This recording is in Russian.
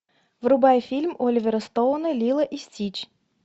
врубай фильм оливера стоуна лило и стич